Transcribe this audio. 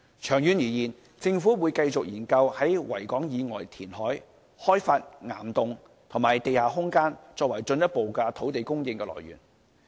長遠而言，政府會繼續研究在維港以外填海、開發岩洞及地下空間，作為進一步的土地供應的來源。